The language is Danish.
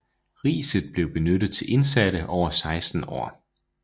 Riset blev benyttet til indsatte over 16 år